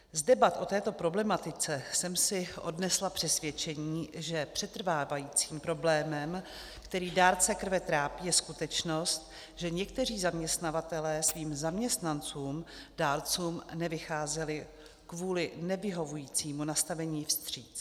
Z debat o této problematice jsem si odnesla přesvědčení, že přetrvávajícím problémem, který dárce krve trápí, je skutečnost, že někteří zaměstnavatelé svým zaměstnancům dárcům nevycházeli kvůli nevyhovujícímu nastavení vstříc.